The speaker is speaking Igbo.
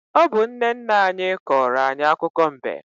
Ọ bụ nne nna anyị kọrọ anyị akụkọ mbe.